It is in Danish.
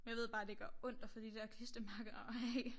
Jeg ved bare det gør ondt at få de der klistermærker af